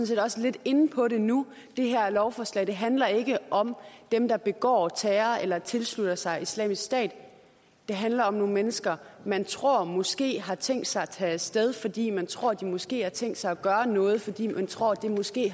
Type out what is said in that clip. set også lidt inde på det nu det her lovforslag handler ikke om dem der begår terror eller tilslutter sig islamisk stat det handler om nogle mennesker man tror måske har tænkt sig at tage af sted fordi man tror at de måske har tænkt sig at gøre noget fordi man tror at det måske